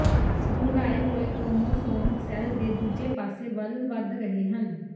ਦੁਹਰਾਏ ਹੋਏ chromosome cell ਦੇ ਦੂਜੇ ਪਾਸੇ ਵੱਲ ਵਧ ਰਹੇ ਹਨ